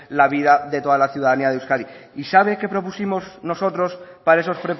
la vida de toda la ciudadanía de euskadi y sabe qué propusimos nosotros para esos